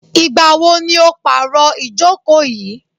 Ìgbà wo ni o pàro ìjókò yìí?